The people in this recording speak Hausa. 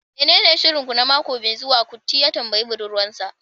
menene shirin ku na mako mai zuwa? kuti ya tambayi budurwar sa